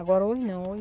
Agora, hoje não. Hoje